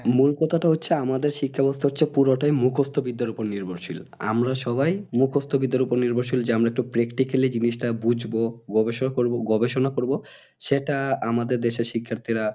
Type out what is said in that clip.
মূল কথা হচ্ছে আমাদের শিক্ষা ব্যবস্থা হচ্ছে পুরুটাই মুখস্থ বিদ্যার ওপর নির্ভরশীল আমরা সবাই মুখুস্থ বিদ্যার ওপর নির্ভরশীল যেন তো practically জিনিস টা বুঝবো গবেষক করবো গবেষণা করবো সেটা আমাদের দেশে শিক্ষার্থীরা